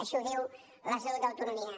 així ho diu l’estatut d’autonomia